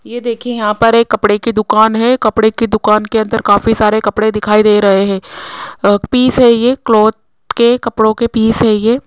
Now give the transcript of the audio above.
ये देखिए यहां पर एक कपड़े की दुकान है कपड़े की दुकान के अंदर काफी सारे कपड़े दिखाई दे रहे हैं पीस है ये क्लॉथ के कपड़ों के पीस है ये --